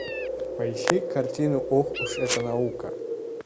поищи картину ох уж эта наука